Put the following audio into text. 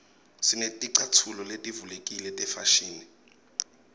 sineticatfulo letivulekile tefashini